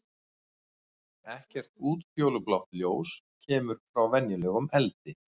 Ekkert útfjólublátt ljós kemur frá venjulegum eldi.